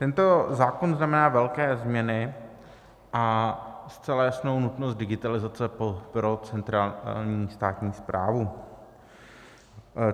Tento zákon znamená velké změny a zcela jasnou nutnost digitalizace pro centrální státní správu.